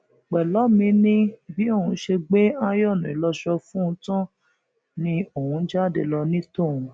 pẹlọmì ni bí òun ṣe gbé ààyòónú ìlọsọ fún un tán lòun ni òun jáde lọ ní tòun